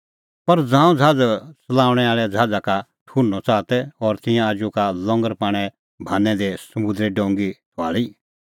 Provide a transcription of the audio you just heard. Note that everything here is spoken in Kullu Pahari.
पर ज़ांऊं ज़हाज़ च़लाऊंणैं आल़ै ज़हाज़ा का ठुहर्नअ च़ाहा तै और तिंयां आजू का लंगर पाणें भान्नै दी समुंदरै डोंगी थुआल़ी